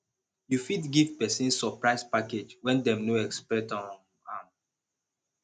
you fit give person surprise package when dem no expect um am